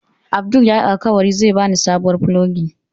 Abdul yayi min alkawari zai bani sabuwar fulogi.